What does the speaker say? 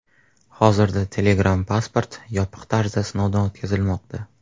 Hozirda Telegram Passport yopiq tarzda sinovdan o‘tkazilmoqda.